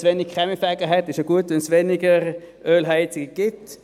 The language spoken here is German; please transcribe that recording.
wenn wir zu wenig Kaminfeger haben, ist es ja gut, wenn es weniger Ölheizungen gibt.